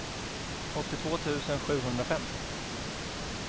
åttiotvå tusen sjuhundrafem